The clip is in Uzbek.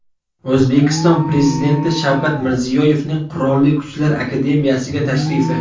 O‘zbekiston Prezidenti Shavkat Mirziyoyevning Qurolli Kuchlar akademiyasiga tashrifi .